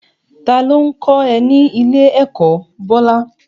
Ta ló ń kọ́ ẹ ní ilé-ẹ̀kọ́, Bola?